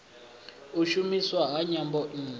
u shumiswa ha nyambo nnzhi